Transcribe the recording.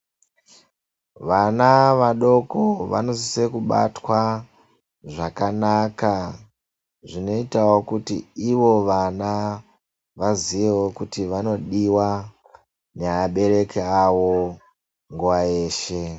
Vana vadoko vanosise kubatwa zvakanaka zvinoitawo kuti ivo vana vaziyewo kuti vanodiwa nevabereki avo nguwa yeshe.